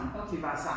Okay